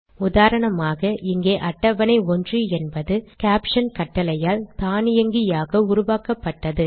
உதாரணமாக இங்கே அட்டவணை 1 என்பது கேப்ஷன் கட்டளையால் தானியங்கியாக உருவாக்கப்பட்டது